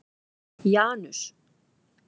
Janus